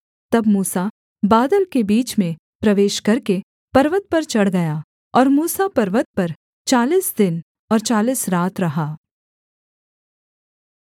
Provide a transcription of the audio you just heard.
तब मूसा बादल के बीच में प्रवेश करके पर्वत पर चढ़ गया और मूसा पर्वत पर चालीस दिन और चालीस रात रहा